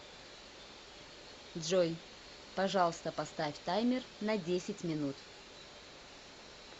джой пожалуйста поставь таймер на десять минут